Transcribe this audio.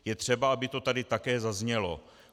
Je třeba, aby to tady také zaznělo.